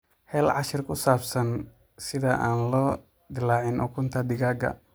Hel cashar ku saabsan sida aan loo dillaacin ukunta digaagga.